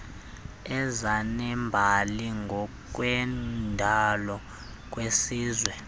ezinembali ngokwendalo kwisizwe